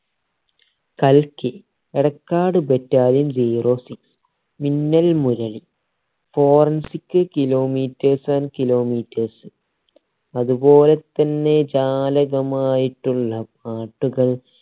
കൽക്കി Edakkad battalion zero six Minnal Murali forensic kilometers and klilometers അതുപോലെ തന്നെ ജാലകമായിട്ടുള്ള പാട്ടുകൾ